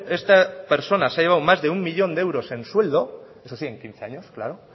esta persona se ha llevado más de uno millón de euros en sueldo eso sí en quince años claro